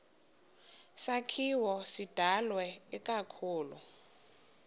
sakhiwo sidalwe ikakhulu